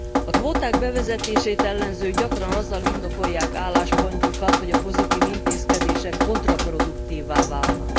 A kvóták bevezetését ellenzők gyakran azzal indokolják álláspontjukat, hogy a pozitív intézkedések kontraproduktívvá válnak.